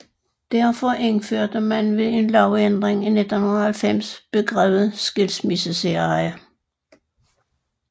Derfor indførte man ved en lovændring i 1990 begrebet skilsmissesæreje